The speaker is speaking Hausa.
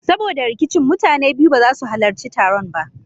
Saboda rikicin mutanen biyu ba za su halarci taron ba.